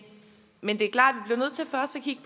men det er klart